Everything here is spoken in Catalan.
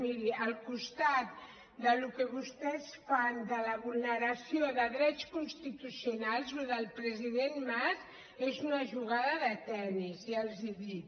miri al costat del que vostès fan de la vulneració de drets constitucionals això del president mas és una jugada de tenis ja els ho dic